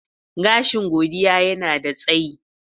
Gashi Godiya yanada tsayi.